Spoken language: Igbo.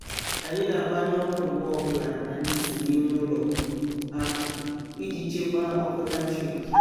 anyị na-agbanyụ ọkụ mgbe ọbụla anyị si n'ime ụlọ apụ iji chekwaa ọkụ latrik.